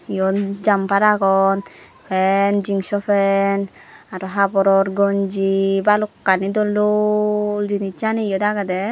iyot jumper agon pant jeans o pant aro haboror gonji balokani dol dol jinijsani eyot agedy.